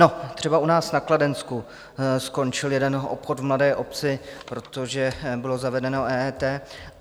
No, třeba u nás na Kladensku skončil jeden obchod v malé obci, protože bylo zavedeno EET.